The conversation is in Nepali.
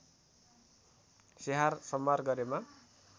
स्याहार सम्भार गरेमा